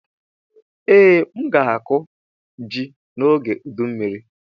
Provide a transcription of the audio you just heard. Ee, m ga-akụ ji n'oge ụdụ mmiri.